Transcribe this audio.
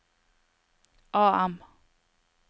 AM